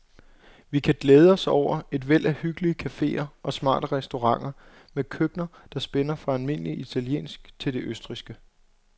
Vi kan glæde os over et væld af hyggelige caféer og smarte restauranter med køkkener, der spænder fra almindelig italiensk til det østrigske.